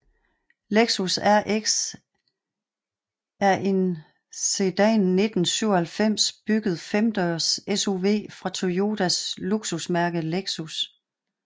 Lexus RX er en siden 1997 bygget femdørs SUV fra Toyotas luksusmærke Lexus